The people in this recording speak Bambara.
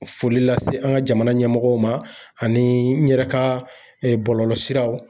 Foli lase an ka jamana ɲɛmɔgɔw ma ani n yɛrɛ ka bɔlɔlɔsiraw